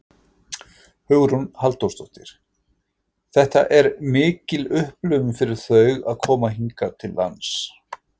Hugrún Halldórsdóttir: Þetta er mikil upplifun fyrir þau að koma hingað til lands?